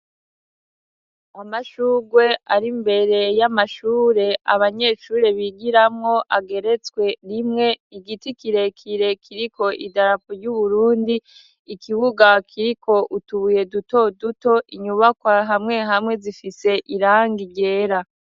Amashurwe ari mbere y'amashure abanyeshure bigiramo, ageretswe rimwe. Igiti kirekire kiriko idarapo ry'Uburundi. Ikibuga kiriko utubuye duto duto, inyubakwa hamwe hamwe zifise irangi ryera.